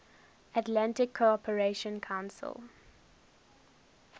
atlantic cooperation council